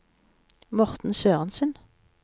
Morten Sørensen